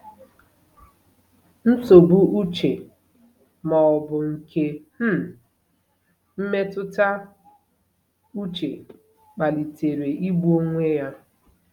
Nsogbu uche ma ọ bụ nke um mmetụta uche kpalitere igbu onwe ya?